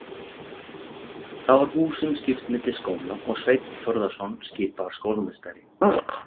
Þá var húsum skipt milli skóla og Sveinn Þórðarson skipaður skólameistari.